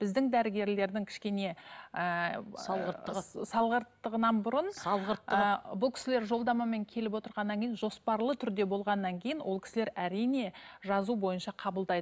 біздің дәрігерлердің кішкене ііі салғырттығы салғырттығынан бұрын ііі салғырттығы і бұл кісілер жолдамамен келіп отырғаннан кейін жоспарлы түрде болғаннан кейін ол кісілер әрине жазу бойынша қабылдайды